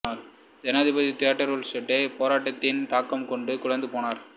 ஜனாதிபதி தியோடர் ரூஸ்வெல்ட்டே போராட்டத்தின் தாக்கம் கண்டு குலைந்து போனார்